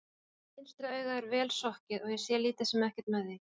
Vinstra augað er vel sokkið og ég sé lítið sem ekkert með því.